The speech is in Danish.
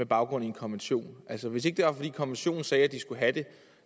baggrund af en konvention altså hvis ikke det var fordi konventionen sagde at de skulle have det